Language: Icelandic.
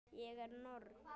Ég er norn.